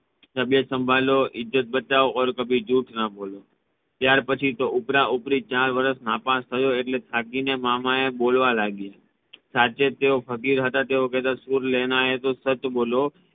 તબિયત સાંભળો ઈજ્જત સાંભળો ઔર કભી જહૂઠ ના બોલો ત્યાર પછી ઉપરા ઉપરી ચાર વાર નાપાસ થયો એટલે થાકીને મામા બોલવા લાગ્યા સાથે તેઓ ફકીર હતા કેહતા સુર લેના હૈ તો સચ બોલો